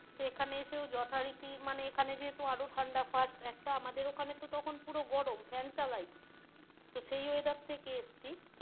তো এখানে এসেও যথারীতি মানে এখানে যেহেতু আরও ঠাণ্ডা first একটা আমাদের ওখানে তো তখন গরম fan চালাই তো সেই weather থেকে এসছি,